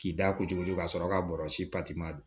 K'i da kojugu ka sɔrɔ ka bɔrɔ si don